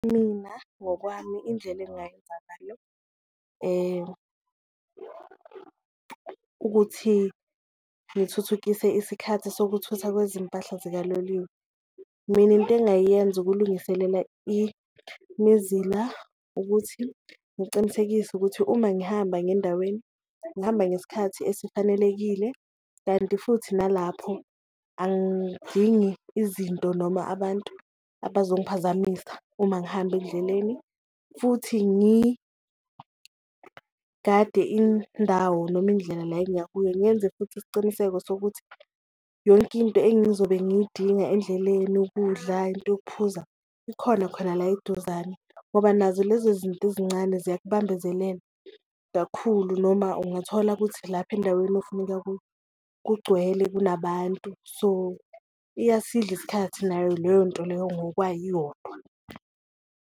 Mina ngokwami indlela engayenza ngayo ukuthi ngithuthukise isikhathi sokuthutha kwezimpahla zikaloliwe, mina into engayiyenza ukulungiselela imizila ukuthi ngicinisekise ukuthi uma ngihamba ngendaweni ngihamba ngesikhathi esifanelekile. Kanti futhi nalapho angidingi izinto noma abantu abazongiphazamisa uma ngihamba endleleni futhi ngigade indawo noma indlela la engiyakuyo, ngenze futhi isiciniseko sokuthi yonke into engizobe ngiyidinga endleleni ukudla, into yokuphuza ikhona khona la eduzane. Ngoba nazo lezo zinto ezincane ziyakubambezelela kakhulu noma ungathola kuthi lapha endaweni ofuna ukuya kuyo kugcwele kunabantu so, iyasidla isikhathi nayo leyo nto leyo ngokwayo iyodwa.